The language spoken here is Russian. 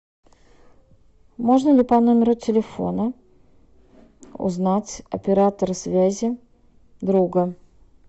можно ли по номеру телефона узнать оператора связи друга